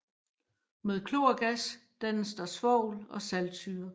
Med klorgas dannes der svovl og saltsyre